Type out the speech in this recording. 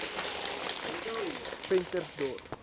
ventersdorp